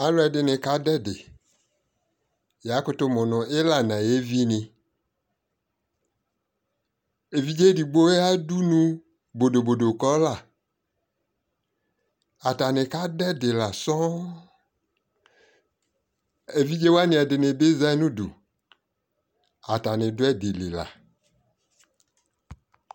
Aluɛ dini ka du ɛdiYa kutu mu nu ila na yɛ vi niƐvidze digbo ya dunu bodobodo kɔ laAtani ka du ɛdi la sɔɔŋƐvidze wani dini bi za nu duAtani du ɛdi li la